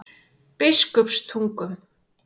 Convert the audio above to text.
Biskupstungum